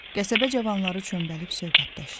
Qəsəbə cavanları çömbəlib söhbətləşir.